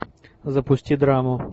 запусти драму